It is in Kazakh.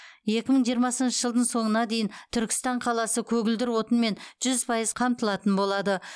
екі мың жиырмасыншы жылдың соңына дейін түркістан қаласы көгілдір отынмен жүз пайыз қамтылатын болады